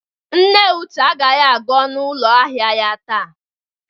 Nne Uche agaghi aga ọnụ ụlọ ahịa ya taa.